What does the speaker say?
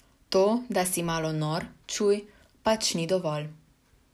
To, da si malo nor, čuj, pač ni dovolj.